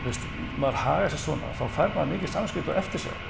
maður hagar sér svona þá fær maður mikið samviskubit og eftirsjá